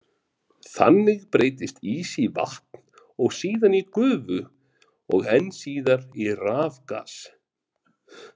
Þannig breytist ís í vatn og síðan í gufu og enn síðar í rafgas.